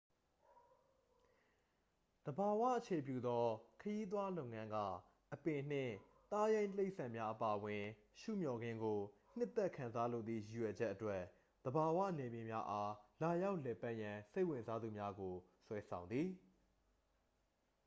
သဘာဝအခြေပြုသော ခရီးသွားလုပ်ငန်းက အပင်နှင့် သားရိုင်းတိရိစ္ဆာန်များအပါအဝင် ရှုမျှော်ခင်းကို နှစ်သက်ခံစားလိုသည့် ရည်ရွယ်ချက်အတွက် သဘာဝနယ်မြေများအား လာရောက်လည်ပတ်ရန် စိတ်ဝင်စားသူများကို ဆွဲဆောင်သည်